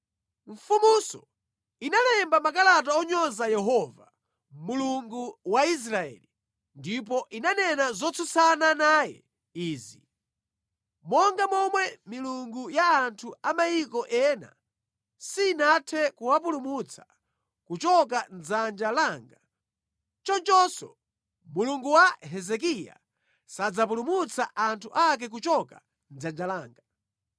Mfumunso inalemba makalata onyoza Yehova, Mulungu wa Israeli, ndipo inanena zotsutsana naye izi: “Monga momwe milungu ya anthu a mayiko ena sinathe kuwapulumutsa kuchoka mʼdzanja langa, chonchonso Mulungu wa Hezekiya sadzapulumutsa anthu ake kuchoka mʼdzanja langa.”